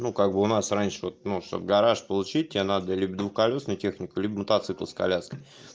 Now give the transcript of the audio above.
ну как бы у нас раньше вот ну чтобы гараж получить тебе надо либо колёсную технику либо мотоцикл с коляской